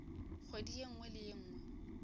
kgwedi ye nngwe le ye